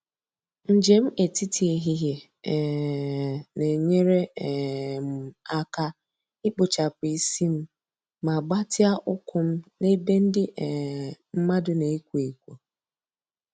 Njem etiti ehihie um na-enyere um m aka ikpochapụ isi m ma gbatịa ụkwụ m na ebe ndị um mmadụ na-ekwo ekwo.